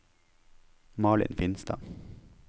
Malin Finstad